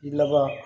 Laban